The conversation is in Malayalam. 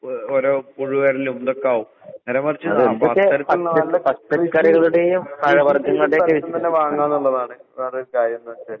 ഓ ഓരോ പുഴു വരലും ഇതൊക്കാവും. നേരെ മറിച്ച് കൃഷി ചെയ്യുന്ന സ്ഥലത്ത്ന്നന്നെ വാങ്ങാന്നിള്ളതാണ് വേറൊരു കാര്യന്നെച്ചാല്.